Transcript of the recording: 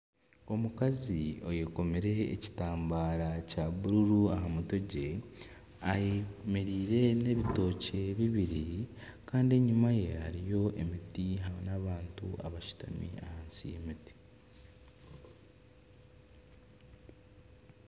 Omukazi ayekomire ekitambara kya bururu aha mutwe gwe ayemereire n'ebotokye bibiri kandi enyima ye hariyo emiti n'abantu abashutami ahansi y'emiti.